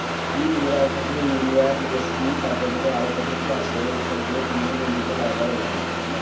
কি জোরা উঠেছে Uriya DSP তারপর ধরো আরও কত কি আছে এসব গুলো দিয়ে জমিটার বারোটা বাজিনদিছে বুঝলা